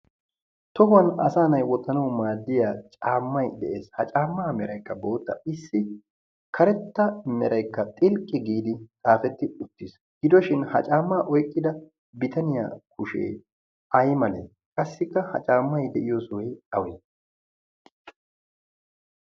tohuwan asa nay wottnaw maadiya caammay de'ees. ha caamma merayka bootta. issi karetta meraykka xilqqi giidi xaafet uttiis. gidoshin ha caamma oyqqida bitaniya kushe aymale? qassikka ha caammay de'iyoosa awe?